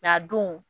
a don